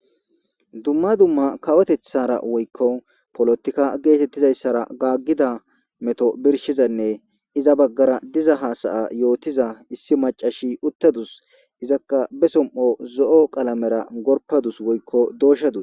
Dumma dumma kawoteththara woykko polotikka geetettizayssara gaaggida meto birshizanne iza baggara diza haasaya yootiza issi macashshi uttadus izakka be som'o zo'o qalamera gorpadus woykko dooshshadus